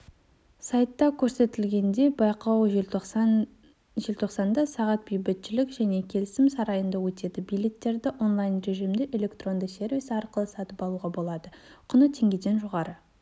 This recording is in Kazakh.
сайтта көрсетілгендей байқау желтоқсанда сағат бейбітшілік және келісім сарайында өтеді билеттерді онлайн-режимде электронды сервисі арқылы сатып алуға болады құны теңгеден жоғары